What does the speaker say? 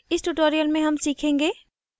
इस tutorial में हम सीखेंगे